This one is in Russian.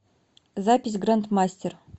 запись гранд мастер